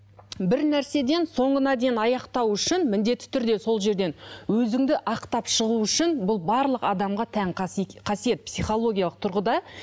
бір нәрседен соңына дейін аяқтау үшін міндетті түрде сол жерден өзіңді ақтап шығу үшін бұл барлық адамға тән қасиет психологиялық тұрғыда